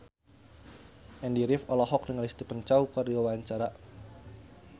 Andy rif olohok ningali Stephen Chow keur diwawancara